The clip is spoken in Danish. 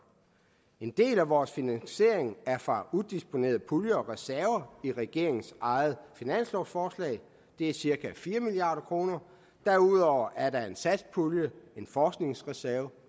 en del af vores finansiering er fra udisponerede puljer og reserver i regeringens eget finanslovsforslag det er cirka fire milliard kroner derudover er der en satspulje en forskningsreserve